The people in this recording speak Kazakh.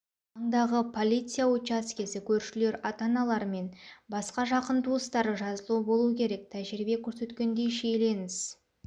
маңдағы полиция учаскесі көршілер ата-аналар мен басқа жақын туыстары жазылу болу керек тәжірибе көрсеткендей шиеленіс